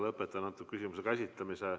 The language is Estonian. Lõpetan selle küsimuse käsitlemise.